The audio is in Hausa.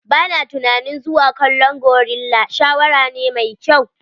Ba na tunanin zuwa kallon gorilla shawara ne mai kyau.